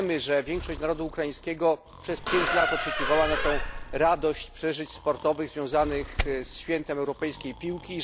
Wiemy, że większość narodu ukraińskiego przez pięć lat oczekiwała na tę radość przeżyć sportowych związanych ze świętem europejskiej piłki.